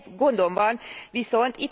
Egy gondom van viszont.